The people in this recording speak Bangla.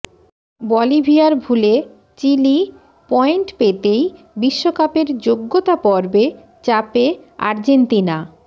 বলিভিয়ার ভুলে চিলি পয়েন্ট পেতেই বিশ্বকাপের যোগ্যতা পর্বে চাপে আর্জেন্তিনা